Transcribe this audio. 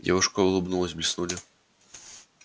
девушка улыбнулась блеснули ровные белые зубы